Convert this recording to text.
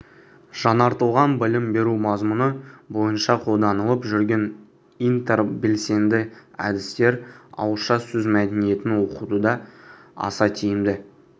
жаңартылған білім беру мазмұны бойынша қолданылып жүрген интербелсенді әдістер ауызша сөз мәдениетін оқытуда аса тиімді